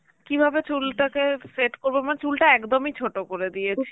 কিভাবে চুলটাকে set করব মানে চুলটা একদমই ছোট করে দিয়েছি